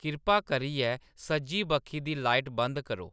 किरपा करियै सज्जी बक्खी दी लाइट बंद करो